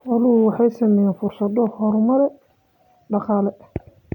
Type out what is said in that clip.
Xooluhu waxay siinayaan fursado horumar dhaqaale.